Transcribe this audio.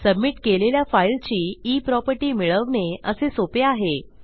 submit केलेल्या फाईलची e property मिळवणे असे सोपे आहे